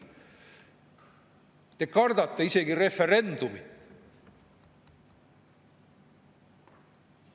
Te kardate isegi referendumit.